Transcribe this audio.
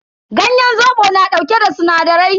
Ganyen zobo yana dauke da sinadarai.